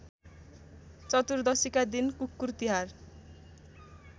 चतुर्दशीका दिन कुकुरतिहार